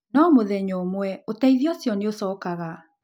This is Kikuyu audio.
No mũthenya ũmwe, ũteithio ũcio nĩ ũcookaga.